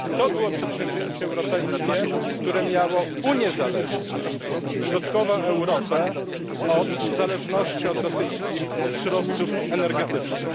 Było to przedsięwzięcie europejskie, które miało uniezależnić środkową Europę od zależności od rosyjskich surowców energetycznych.